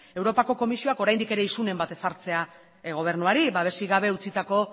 europako komisioak oraindik ere isunen bat ezartzea gobernuari babesik gabe utzitako